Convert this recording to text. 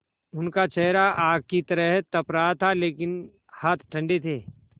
उनका चेहरा आग की तरह तप रहा था लेकिन हाथ ठंडे थे